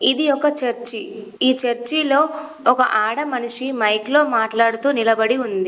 ఇది ఒక చర్చి . ఈ చర్చిలో ఒక ఆడ మనిషి మైక్లో మాట్లాడుతూ నిలబడి ఉంది.